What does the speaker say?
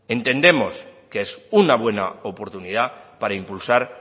entendemos que es una buena oportunidad para impulsar